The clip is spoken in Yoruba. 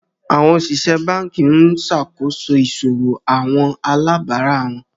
Awọn osìsẹ̀ bánkì n ṣakoso iṣòwò awọn alàbárà wọn.